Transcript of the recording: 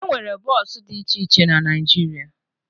E nwere bọọsụ dị iche iche na Naịjirịa